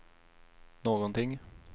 någonting